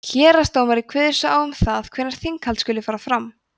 héraðsdómari kveður svo á um það hvenær þinghald skuli fara fram